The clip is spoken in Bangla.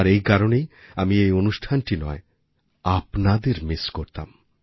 আর এই কারণেই আমি এই অনুষ্ঠানটি নয় আপনাদের মিস করতাম